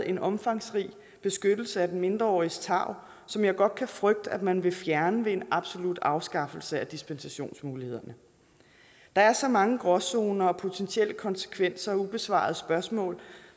en omfangsrig beskyttelse af de mindreåriges tarv som jeg godt kan frygte at man vil fjerne ved en absolut afskaffelse af dispensationsmulighederne der er så mange gråzoner og potentielle konsekvenser og ubesvarede spørgsmål